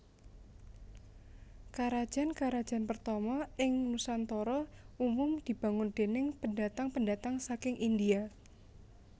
Karajan karajan pertama ing Nusantara umum dibangun déning pendatang pendatang saking India